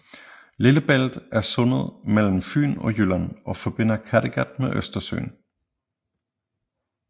Lillebælt er sundet mellem Fyn og Jylland og forbinder Kattegat med Østersøen